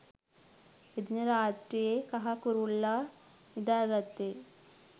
එදින රාත්‍රියේ කහ කුරුල්ලා නිදා ගත්තේ